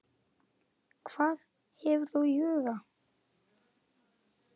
Hvað hefur þú í huga?